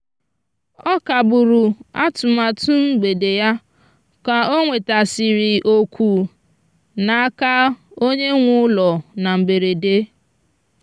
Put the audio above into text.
ọ kagburu atụmatụ mgbede ya ka o nwetasịrị oku n'aka onye nwe ụlọ na mberede.